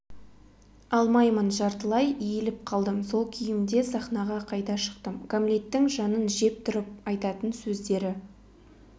алмаймын жартылай иіліп қалдым сол күйімде сахнаға қайта шықтым гамлеттің жанын жеп тұрып айтатын сөздері